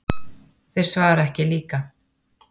Þeir svara ekki líka.